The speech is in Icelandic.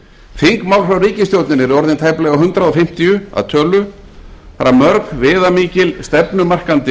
þingmál frá ríkisstjórninni eru orðin tæplega hundrað fimmtíu að tölu þar af mörg viðamikil stefnumarkandi